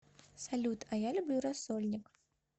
салют а я люблю рассольник